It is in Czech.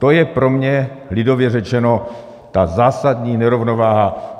To je pro mě lidově řečeno ta zásadní nerovnováha.